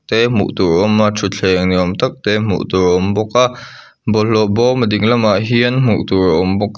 te hmuh tur a awm a thutthleng ni awm tak te hmuh tur a awm bawk a bawlhlawh bawm a ding lamah hian hmuhtur a awm bawk.